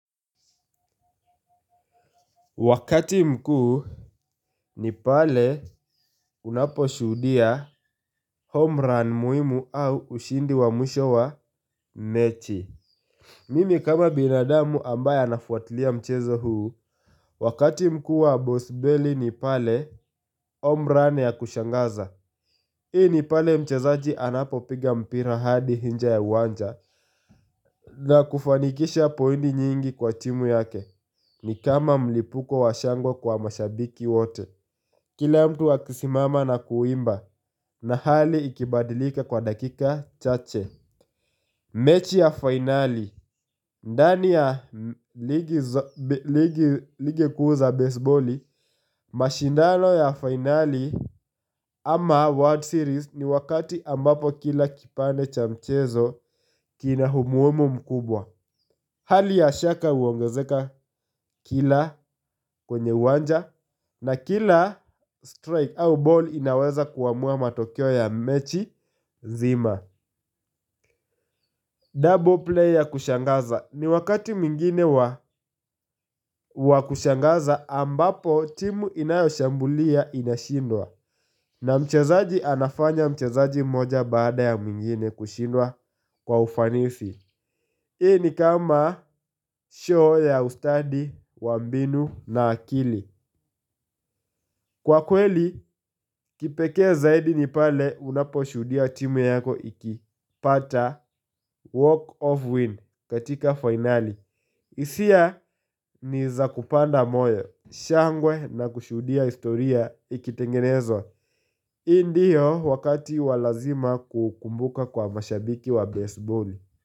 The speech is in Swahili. Wakati mkuu ni pale unapo shuhudia homerun muhimu au ushindi wa mwisho wa mechi. Mimi kama binadamu ambaye anafuatilia mchezo huu. Wakati mkuu wa boss belly ni pale homerun ya kushangaza. Hii ni pale mchezaji anapo piga mpira hadi nje ya uwanja. Na kufanikisha pointi nyingi kwa timu yake. Ni kama mlipuko wa shangwa kwa mashabiki wote. Kila mtu wa kusimama na kuimba na hali ikibadilika kwa dakika chache. Mechi ya finali ndani ya ligi kuu za baseboli mashindano ya finali ama World Series ni wakati ambapo kila kipande cha mchezo kina umuhimu mkubwa. Hali ya shaka huongezeka kila kwenye uwanja. Na kila strike au ball inaweza kuamua matokeo ya mechi zima Double player kushangaza ni wakati mwingine wa kushangaza ambapo timu inayoshambulia inashindwa na mchezaji anafanya mchezaji moja baada ya mwingine kushinda kwa ufanisi. Hii ni kama show ya ustadi wa mbinu na akili. Kwa kweli, kipeke zaidi ni pale unapo shuhudia timu yako iki pata walk of win katika finali. Hisia ni za kupanda moyo. Shangwe na kushuhudia historia ikitengenezwa. Hii ndiyo wakati wa lazima kukumbuka kwa mashabiki wa baseball.